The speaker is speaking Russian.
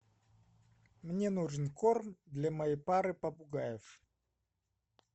мне нужен корм для моей пары попугаев